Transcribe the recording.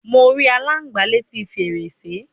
Mo ri alangba leti ferese